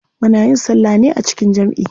Muna yin salla ne a jikin jamʼi.